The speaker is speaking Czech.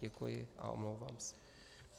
Děkuji a omlouvám se.